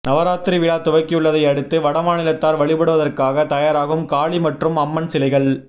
நவராத்திரி விழா துவக்கியுள்ளதை அடுத்து வடமாநிலத்தார் வழிபடுவதற்காக தயாராகும் காளி மற்றும் அம்மன் சிலைகள்